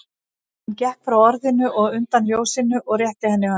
Hann gekk frá orðinu og undan ljósinu og rétti henni höndina.